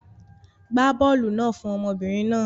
Gbá bọ́ọ́lù náà fún ọmọbìnrin náà.